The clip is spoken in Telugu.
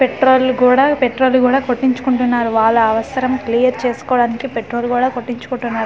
పెట్రోల్ గూడా పెట్రోల్ కూడా కొట్టించుకుంటున్నారు వాళ్ళ అవసరం క్లియర్ చేసుకోవడానికి పెట్రోల్ గూడా కొట్టించుకుంటున్నారు.